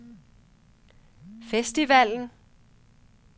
festivalen